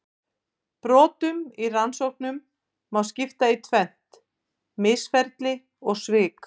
Brotum í rannsóknum má skipta í tvennt: misferli og svik.